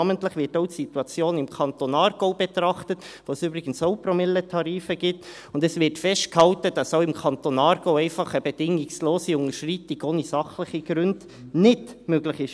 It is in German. Namentlich wird auch die Situation im Kanton Aargau betrachtet, wo es übrigens auch Promilletarife gibt, und es wird festgehalten, dass auch im Kanton Aargau eine bedingungslose Unterschreitung ohne sachliche Gründe bei der Gebühr nicht möglich ist.